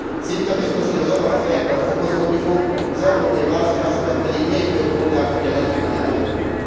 Szinte biztos, hogy a zavar a fejekben fokozódni fog, az európai választásokat pedig még több polgár fogja nagy ívben elkerülni.